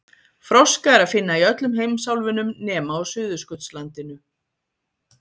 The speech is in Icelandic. Froska er að finna í öllum heimsálfunum nema á Suðurskautslandinu.